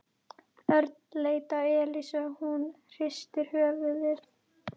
Örn leit á Elísu og hún hristi höfuðið.